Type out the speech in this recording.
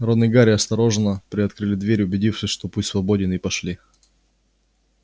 рон и гарри осторожно приоткрыли дверь убедившись что путь свободен и пошли